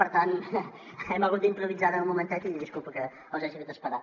per tant hem hagut d’improvisar ara un momentet i disculpin que els hagi fet esperar